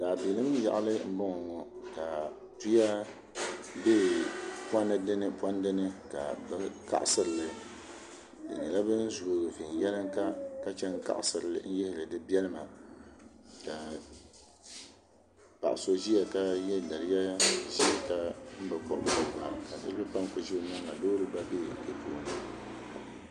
Daabilim yaɣali n boŋo ŋo ka tuya bɛ pondi ni pondi ni ka bi kaɣasirili bi nyɛla bin zooi viɛnyɛlinga ka chɛni kaɣasiri n yihiri di biɛlima paɣa so ʒiya ka yɛ daliya ka niraba pa m ku ʒɛ o nyaanga loori gba bɛ bi puuni